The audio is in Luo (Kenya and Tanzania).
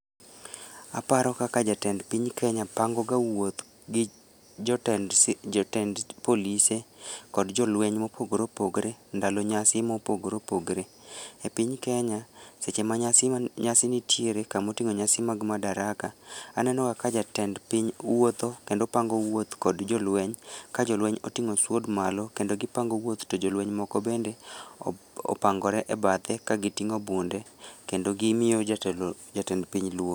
Aparo kaka jatend piny kenya pango ga wuoth gi jotend, jotend polise kod jolweny ma opogore opogore ndalo nyasi ma opogore opogore.E piny Kenya seche ma nyasi nitiere kamotingo nyasi mag Madaraka ,aneno ga ka jatend piny wuotho kendo pango wuoth kod jolweny ka jolweny otingo sword malo kendo gipango wuoth to jolweny moko bende opangore e bathe ka gitingo bunde kendo gimiyo jatend piny luor